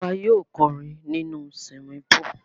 À wa yio korin nínú swimming pool